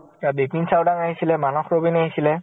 আউ বেপিণ চাওদাং আহিছিলে, মানস ৰবিন আহিছিলে